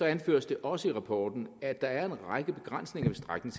anføres det også i rapporten at der er en række begrænsninger